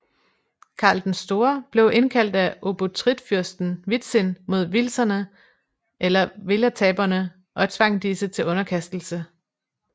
Karl den Store blev indkaldt af obotritfyrsten Witzin mod wilzerne eller welataberne og tvang disse til underkastelse